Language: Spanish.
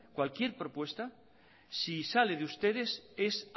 cualquier propuesta si sale de ustedes es